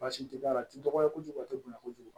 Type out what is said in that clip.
Baasi tɛ a la a tɛ dɔgɔya kojugu a tɛ bonya kojugu